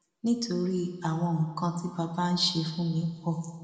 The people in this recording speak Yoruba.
nítorí àwọn nǹkan tí bàbá ń ṣe fún mi pọ